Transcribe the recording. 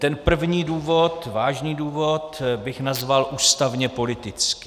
Ten první důvod, vážný důvod, bych nazval ústavně-politický.